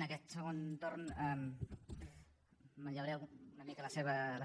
en aquest segon torn manllevaré una mica la